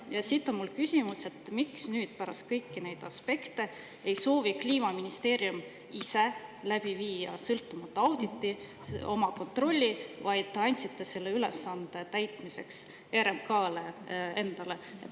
Ja siit on mul küsimus, et miks nüüd pärast kõigi nende aspektide ei soovi Kliimaministeerium ise läbi viia sõltumatu auditi, oma kontrolli, vaid te andsite selle ülesande täitmiseks RMK-le endale.